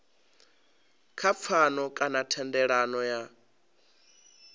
kha pfano kana thendelano ya